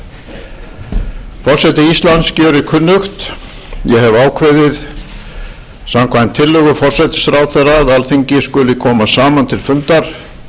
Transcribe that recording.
gjörir kunnugt ég hefi ákveðið samkvæmt tillögu forsætisráðherra að alþingi skuli koma saman til fundar